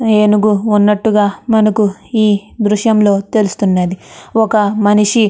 ఏనుగు వున్నటు గ మనకి ఈ దృశ్యం లో కనిపిస్తుంది. ఒక మనిషి --